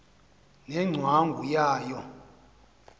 ne ngcwangu yayo